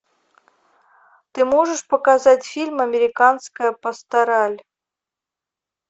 ты можешь показать фильм американская пастораль